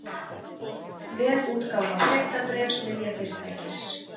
Vefútgáfa fréttabréfs lyfjafyrirtækis